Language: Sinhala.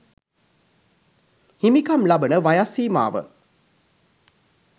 හිමිකම් ලබන වයස් සීමාව